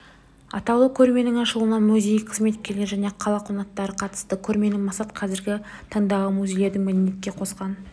атаулы көрменің ашылуына музей қызметкерлері және қала қонақтары қатысты көрменің мақсаты қазіргі таңдағы музейлердің мәдениетке қосқан